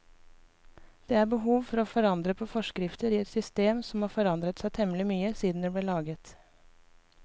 Det er behov for å forandre på forskrifter i et system som har forandret seg temmelig mye siden det ble laget.